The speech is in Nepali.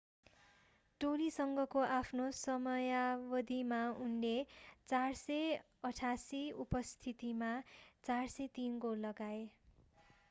टोलीसँगको आफ्नो समयावधिमा उनले 468 उपस्थितिमा 403 गोल लगाए